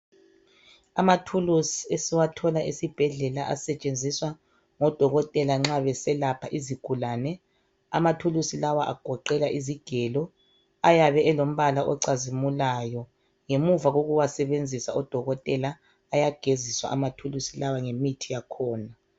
Amathulusi esiwathola esibhedlela asetshenziswa ngodokotela nxa beselapha izigulane, amathulusi lawa agoqela izigelo, ayabe elombala ocazimulayo ngemuva kukuwasebenzisa odokotela bayageziswa amathulusi lawa ngemithi yakhona.